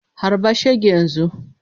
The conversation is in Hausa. Harba shege yanzu!